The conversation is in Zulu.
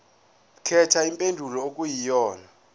khetha impendulo okuyiyona